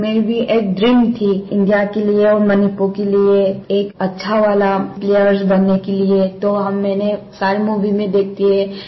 मेरी एक ड्रीम थी इंडिया के लिए और मणिपुर के लिए एक अच्छा वाला प्लेयर्स बनने के लिए तो मैंने सारी मूवी में देखती है